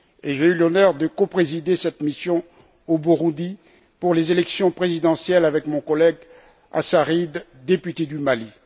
J'ai eu l'honneur de coprésider cette mission au Burundi pour les élections présidentielles avec mon collègue Assarid, député du Mali.